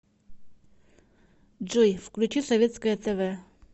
джой включи советское тэ вэ